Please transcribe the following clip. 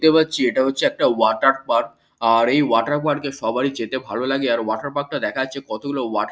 দেখতে পাচ্ছি এটা হচ্ছে একটা ওয়াটার পার্ক আর এই ওয়াটার পার্ক সবারই যেতে ভালো লাগে আর ওয়াটার পার্ক টা দেখাচ্ছে কতগুলো ওয়া--